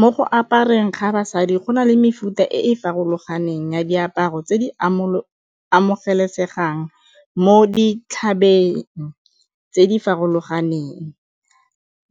Mo go apereng ga basadi go na le mefuta e e farologaneng ya diaparo tse di amogelesegang mo dithabeng tse di farologaneng,